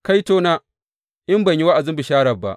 Kaitona, in ban yi wa’azin bishara ba!